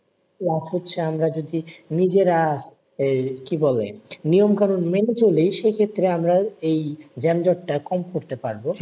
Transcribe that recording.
তো এক হচ্ছে আমরা যদি নিজেরা, এই কি বলে? নিয়ম কানণ মেনে চলি সেক্ষেত্রে আমরা এই যানজট টা কম করতে পারবো।